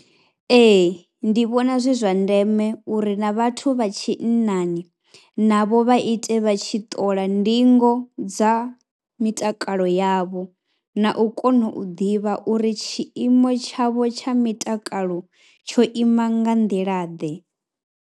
Ee ndi vhona zwi zwa ndeme uri na vhathu vha tshinnani navho vha ite vha tshi ṱola ndingo dza mitakalo yavho na u kona u ḓivha uri tshiimo tshavho tsha mitakalo tsho ima nga nḓilaḓe.